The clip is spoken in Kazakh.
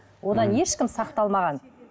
одан ешкім сақталмаған